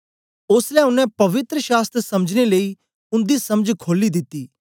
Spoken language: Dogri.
ओसलै ओनें पवित्र शास्त्र समझने लेई उन्दी समझ खोली दिती